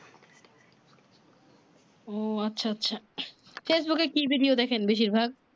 ও আচ্ছা আচ্ছা ফেসবুক এ কি ভিডিও দেখেন বেশির ভাগ